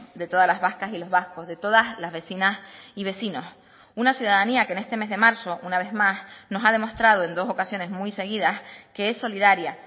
de todas las vascas y los vascos de todas las vecinas y vecinos una ciudadanía que en este mes de marzo una vez más nos ha demostrado en dos ocasiones muy seguidas que es solidaria